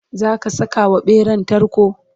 zaka Saka wa ɓeran tarko?